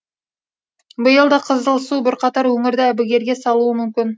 биыл да қызылсу бірқатар өңірді әбігерге салуы мүмкін